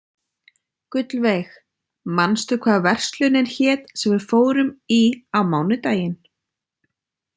Gullveig, manstu hvað verslunin hét sem við fórum í á mánudaginn?